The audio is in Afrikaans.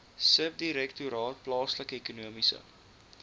subdirektoraat plaaslike ekonomiese